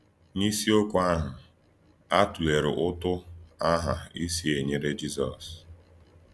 N’ísìọ̀kwú àhụ̀, à tụ̀lèèrè Útù Àhà ísìì e nyere Jízọs.